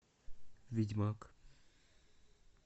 ведьмак